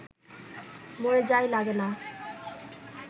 মরে যাই লাগে না